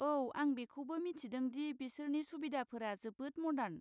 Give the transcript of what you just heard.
औ, आं बेखौबो मिथिदों दि बिसोरनि सुबिदाफोरा जोबोद मडार्न।